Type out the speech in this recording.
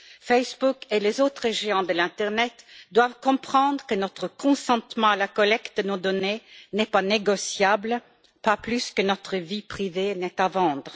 Facebook et les autres géants de l'internet doivent comprendre que notre consentement à la collecte de nos données n'est pas négociable, pas plus que notre vie privée n'est à vendre.